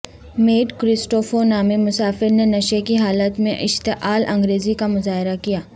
meat Christopher نامی مسافر نے نشے کی حالت میں اشتعال انگیزی کا مظاہرہ کیا